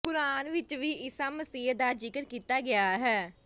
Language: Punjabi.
ਕੁਰਾਨ ਵਿੱਚ ਵੀ ਈਸਾ ਮਸੀਹ ਦਾ ਜ਼ਿਕਰ ਕੀਤਾ ਗਿਆ ਹੈ